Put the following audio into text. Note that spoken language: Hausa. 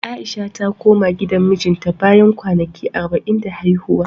A'isha ta koma gidan mijinta, bayan kwanaki arba'in da haihuwa.